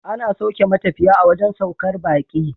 Ana sauke matafiya a wajan saukar baki